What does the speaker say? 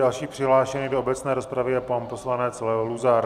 Další přihlášený do obecné rozpravy je pan poslanec Leo Luzar.